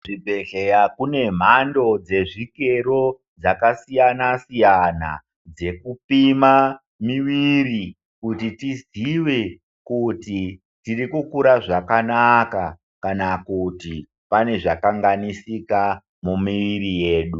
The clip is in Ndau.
Kuzvibhedhleya kune mhando dzezvikero dzakasiyana -siyana dzekupima miviri kuti tizive kuti tirikukura zvakanaka kana kuti pane zvakanganisika mumiri yedu.